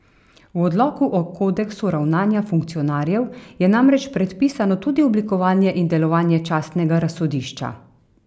V odloku o kodeksu ravnanja funkcionarjev je namreč predpisano tudi oblikovanje in delovanje častnega razsodišča.